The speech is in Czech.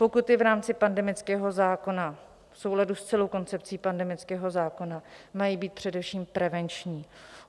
Pokuty v rámci pandemického zákona v souladu s celou koncepcí pandemického zákona mají být především prevenční.